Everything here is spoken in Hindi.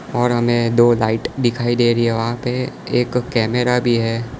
और हमें दो लाइट दिखाई दे रही है वहां पे एक कैमरा भी है।